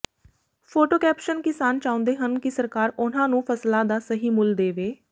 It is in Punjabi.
ਫੋਟੋ ਕੈਪਸ਼ਨ ਕਿਸਾਨ ਚਾਹੁੰਦੇ ਹਨ ਕਿ ਸਰਕਾਰ ਉਨ੍ਹਾਂ ਨੂੰ ਫ਼ਸਲਾਂ ਦਾ ਸਹੀ ਮੁੱਲ ਦੇਵੇ